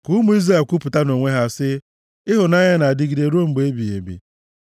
Ka ụmụ Izrel kwupụta nʼonwe ha sị, “Ịhụnanya ya na-adịgide ruo mgbe ebighị ebi.”